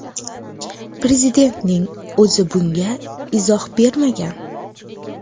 Prezidentning o‘zi bunga izoh bermagan.